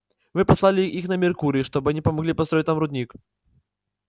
мы послали их на меркурий чтобы они помогли построить там рудник